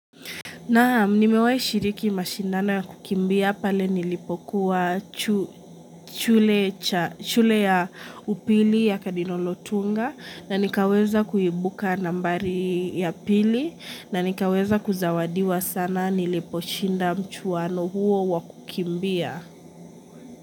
Na mnimewai shiriki mashindano ya kukimbia pale nilipokuwa chu chule ya upili ya kadinolotunga na nikaweza kuibuka nambari ya pili na nikaweza kuzawadiwa sana niliposhinda mchuwano huo wakukimbia.